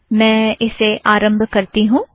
मैं इसे आरम्भ करती हूँ